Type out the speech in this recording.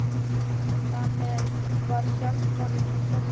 Þar með var sjálfsmorðinu frestað um sinn.